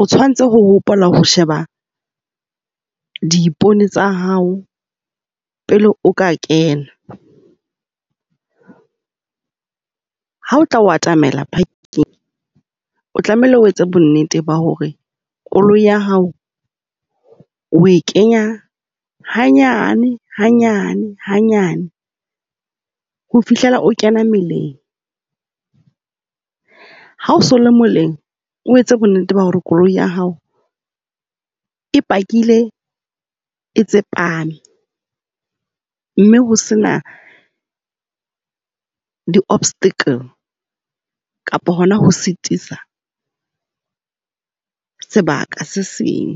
o tshwanetse ho hopola ho sheba diipone tsa hao pele o ka kena. Ha o tla o atamela parking, o tlamehile o etse bonnete ba hore koloi ya hao o e kenya hanyane hanyane, hanyane. Ho fihlela o kena meleng. Ha o so o le moleng o etse bonnete ba hore koloi ya hao e pakile, e tsepame. Mme ho sena di-obstacle kapa hona ho sitisa sebaka se seng.